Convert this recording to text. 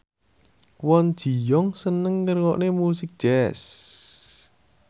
Kwon Ji Yong seneng ngrungokne musik jazz